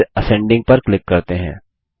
और फिर असेंडिंग पर क्लिक करते हैं